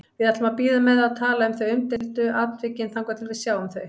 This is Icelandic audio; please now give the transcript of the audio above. Við ætlum að bíða með að tala um umdeildu atvikin þangað til við sjáum þau.